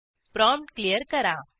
prompt clear करा